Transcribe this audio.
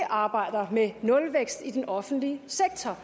arbejder med nulvækst i den offentlige sektor